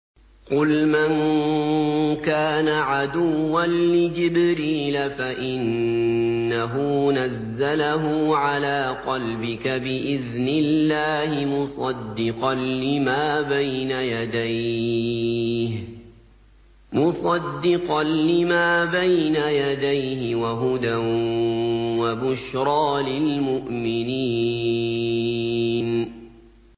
قُلْ مَن كَانَ عَدُوًّا لِّجِبْرِيلَ فَإِنَّهُ نَزَّلَهُ عَلَىٰ قَلْبِكَ بِإِذْنِ اللَّهِ مُصَدِّقًا لِّمَا بَيْنَ يَدَيْهِ وَهُدًى وَبُشْرَىٰ لِلْمُؤْمِنِينَ